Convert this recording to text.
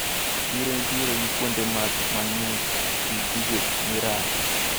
Chiro nitiere gi kuonde math mang`ich gi gigo mirado.